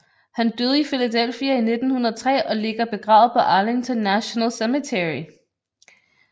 Han døde i Philadelphia i 1903 og ligger begravet på Arlington National Cemetery